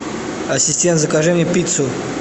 ассистент закажи мне пиццу